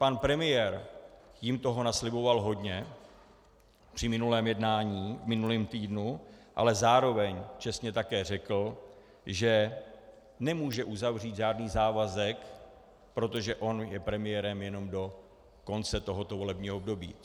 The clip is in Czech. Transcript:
Pan premiér jim toho nasliboval hodně při minulém jednání v minulém týdnu, ale zároveň čestně také řekl, že nemůže uzavřít žádný závazek, protože on je premiérem jenom do konce tohoto volebního období.